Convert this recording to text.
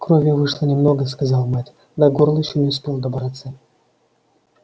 крови вышло немного сказал мэтт до горла ещё не успел добраться